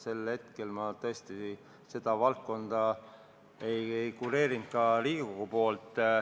Sel hetkel ma tõesti seda valdkonda ka Riigikogu poolt ei kureerinud.